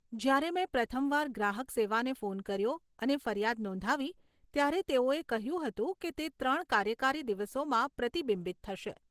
જ્યારે મેં પ્રથમ વાર ગ્રાહક સેવાને ફોન કર્યો અને ફરિયાદ નોંધાવી, ત્યારે તેઓએ કહ્યું હતું કે તે ત્રણ કાર્યકારી દિવસોમાં પ્રતિબિંબિત થશે.